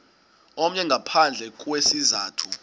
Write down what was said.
omnye ngaphandle kwesizathu